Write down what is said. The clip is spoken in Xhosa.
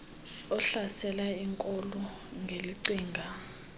ohlasela iinkolo ngelicinga